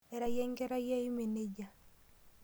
Ira yie enkerai ai emee nejia?